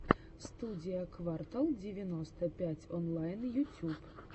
студия квартал девяносто пять онлайн ютюб